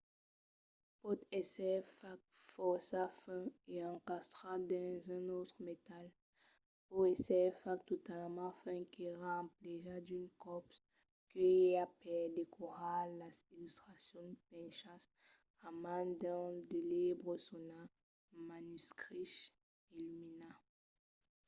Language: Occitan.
pòt èsser fach fòrça fin e encastrat dins un autre metal. pòt èsser fach talament fin qu’èra emplegat d'unes còps que i a per decorar las illustracions penchas a man dins de libres sonats manuscriches enluminats